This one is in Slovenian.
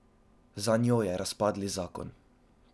Za njo je razpadli zakon.